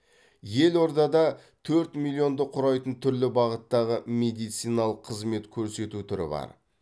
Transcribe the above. елордада төрт миллионды құрайтын түрлі бағыттағы медициналық қызмет көрсету түрі бар